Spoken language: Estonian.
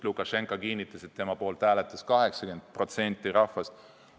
Lukašenka ju kinnitas, et tema poolt hääletas 80% rahvast.